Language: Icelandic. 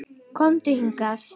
Komdu hingað